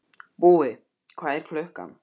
Búi, hvað er klukkan?